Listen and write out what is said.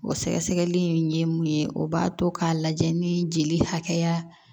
O sɛgɛsɛgɛli in ye mun ye o b'a to k'a lajɛ ni jeli hakɛya